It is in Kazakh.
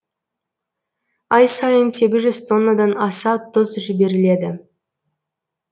ай сайын сегіз жүз тоннадан аса тұз жіберіледі